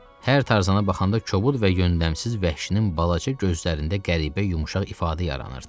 Hər Tarzana baxanda kobud və yöndəmsiz vəhşinin balaca gözlərində qəribə yumşaq ifadə yaranırdı.